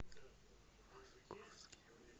московским